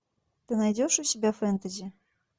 ты найдешь у себя фэнтези